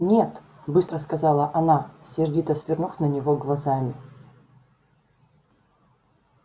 нет быстро сказала она сердито свернув на него глазами